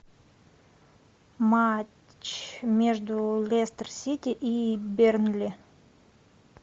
матч между лестер сити и бернли